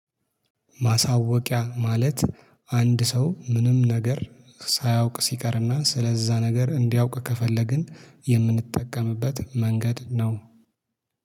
ማሳወቂያ ማለት አንድ ሰው ምንም ነገር ሳያውቅ ሲቀርና ስለዛ ነገር እንዲያውቅ ከፈለግን የምንጠቀምበት መንገድ ነው